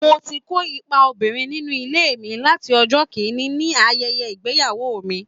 Mo ti ń kó ipa obìnrin nínú ilé mi láti ọjọ́ kìn-ín-ní ayẹyẹ ìgbéyàwó mi